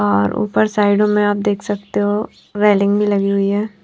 और ऊपर साइडों में आप देख सकते हो रेलिंग भी लगी हुई है।